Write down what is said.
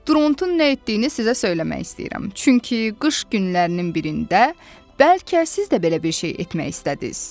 Drontun nə etdiyini sizə söyləmək istəyirəm, çünki qış günlərinin birində bəlkə siz də belə bir şey etmək istədiniz.